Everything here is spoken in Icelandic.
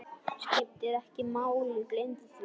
Skiptir ekki máli, gleymdu því.